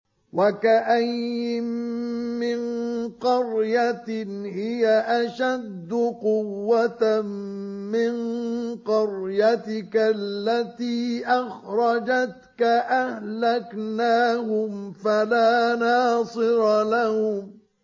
وَكَأَيِّن مِّن قَرْيَةٍ هِيَ أَشَدُّ قُوَّةً مِّن قَرْيَتِكَ الَّتِي أَخْرَجَتْكَ أَهْلَكْنَاهُمْ فَلَا نَاصِرَ لَهُمْ